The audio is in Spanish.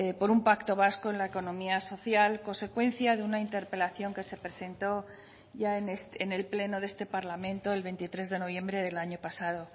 por un pacto vasco en la economía social consecuencia de una interpelación que se presentó ya en el pleno de este parlamento el veintitrés de noviembre del año pasado